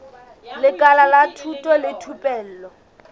lekala la thuto le thupelo